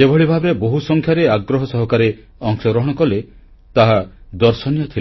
ଯେଭଳି ଭାବେ ବହୁସଂଖ୍ୟାରେ ଆଗ୍ରହ ସହକାରେ ଅଂଶଗ୍ରହଣ କଲେ ତାହା ଦର୍ଶନୀୟ ଥିଲା